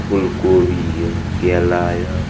फुलकोबी यह केला यह --